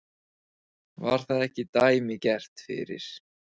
Var það ekki dæmigert fyrir